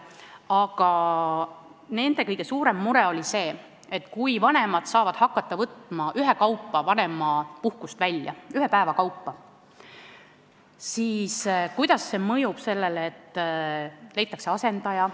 Aga nende kõige suurem mure on see, et kui vanemad saavad hakata vanemapuhkust ühe päeva kaupa välja võtma, siis kuidas see mõjub sellele, et tööandjal on vaja leida asendaja.